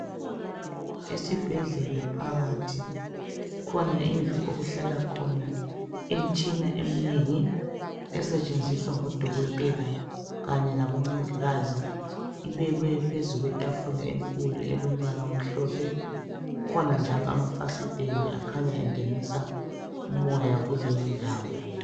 Isibhedlela phakathi kukhona indlu okuhlala khona imitshina eminengi esetshenziswa ngodokotela kanye labomongikazi, ibekwe phezu kwetafula elombala omhlophe, kukhona njalo amafasitele akhanya engenisa umoya kuleyondawo.